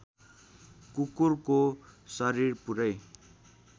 कुकुरको शरीर पुरै